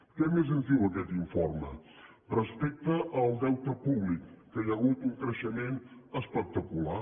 què més ens diu aquest informe respecte al deute públic que hi ha hagut un creixement espectacular